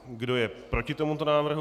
Kdo je proti tomuto návrhu?